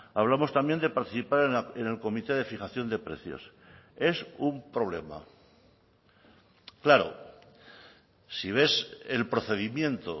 hablamos también de participar en el comité de fijación de precios es un problema claro si ves el procedimiento